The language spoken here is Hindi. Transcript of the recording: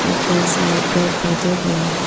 कई सारे पेड़ पौधे भी हैं।